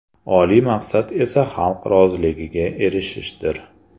Oliy maqsad esa xalq roziligiga erishishdir!